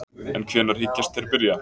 En hvenær hyggjast þeir byrja?